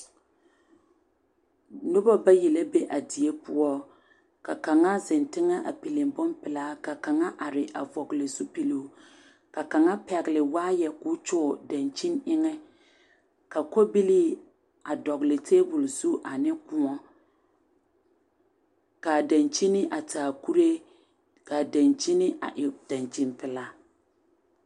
Noba bayi la be a die poɔ ka kaŋa zeŋ teŋɛ a pili bompelaa ka kaŋa are a vɔgle zupiloo ka kaŋa pɛgle waayɛ k,o kyɔɔ dankyini eŋɛ ka kɔbilii dɔgle tabol zu ane koɔ k,a dankyini a taa kuree k,a dankyini a e dankyinpelaa.